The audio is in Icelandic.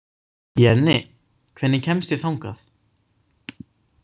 Jenni, hvernig kemst ég þangað?